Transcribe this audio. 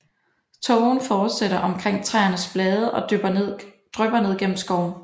Tågen fortættes omkring træernes blade og drypper ned gennem skoven